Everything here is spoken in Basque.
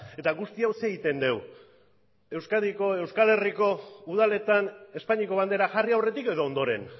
eta guzti hau zer egiten dugu euskadiko edo euskal herriko udaletan espainiako bandera jarri aurretik edo ondoren